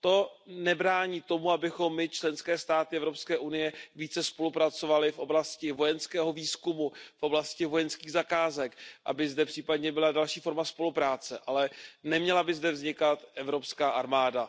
To nebrání tomu, abychom my, členské státy EU, více spolupracovaly v oblasti vojenského výzkumu, v oblasti vojenských zakázek, aby zde případně byla další forma spolupráce, ale neměla by zde vznikat evropská armáda.